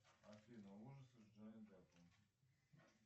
афина ужасы с джонни деппом